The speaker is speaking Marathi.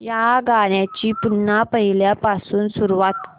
या गाण्या ची पुन्हा पहिल्यापासून सुरुवात कर